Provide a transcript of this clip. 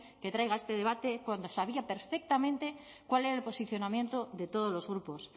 que traiga este debate cuando sabía perfectamente cuál era el posicionamiento de todos los grupos